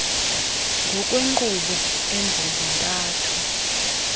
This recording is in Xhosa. ngokwenkqubo embombo ntathu